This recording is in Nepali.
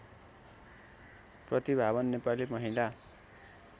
प्रतिभावान नेपाली महिला